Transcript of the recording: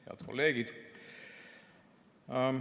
Head kolleegid!